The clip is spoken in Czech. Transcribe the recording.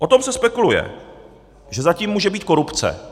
O tom se spekuluje, že za tím může být korupce.